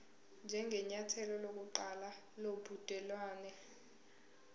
njengenyathelo lokuqala lobudelwane